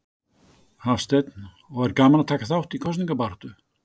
Hafsteinn: Og er gaman að taka þátt í kosningabaráttu?